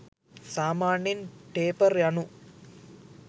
සාමාන්‍යයෙන් ටේපර් යනු